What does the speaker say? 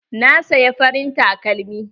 Na saya farin takalmi.